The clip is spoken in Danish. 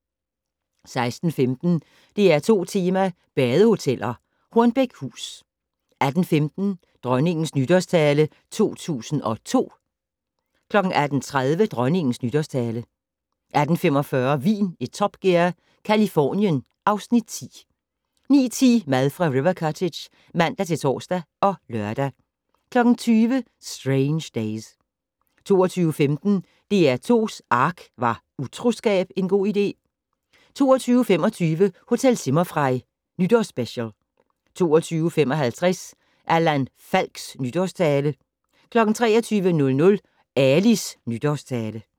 16:15: DR2 Tema: badehoteller - Hornbækhus 18:15: Dronningens Nytårstale 2002 18:30: Dronningens Nytårstale 18:45: Vin i Top Gear - Californien (Afs. 10) 19:10: Mad fra River Cottage (man-tor og lør) 20:00: Strange Days 22:15: DR2's ARK - Var utroskab en god idé? 22:25: Hotel Zimmerfrei - Nytårsspecial 22:55: Allan Falks nytårstale 23:00: Alis nytårstale